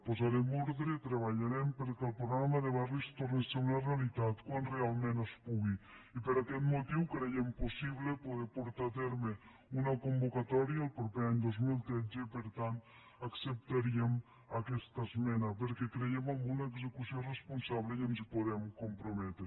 posarem ordre treballarem perquè el programa de barris torni a ser una realitat quan realment es pu·gui i per aquest motiu creiem possible poder portar a terme una convocatòria el proper any dos mil tretze i per tant acceptaríem aquesta esmena perquè creiem en una execució responsable i ens hi podem comprometre